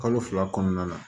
Kalo fila kɔnɔna la